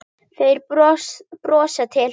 Þeir brosa til hans.